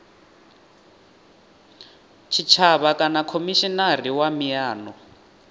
tshitshavha kana khomishinari wa miano